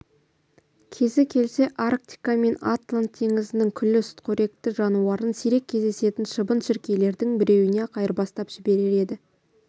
кезі келсе арктика мен атлант теңізінің күллі сүтқоректі жануарын сирек кездесетін шыбын-шіркейлердің біреуіне-ақ айырбастап жіберер еді